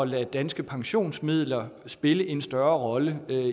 lade danske pensionsmidler spille en større rolle